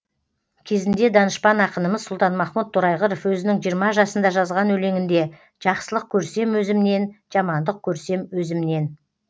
кезінде данышпан ақынымыз сұлтанмахмұт торайғыров өзінің жиырма жасында жазған өлеңінде жақсылық көрсем өзімнен жамандық көрсем өзімнен